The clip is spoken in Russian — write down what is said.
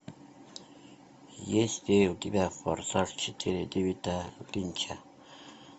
есть ли у тебя форсаж четыре дэвида линча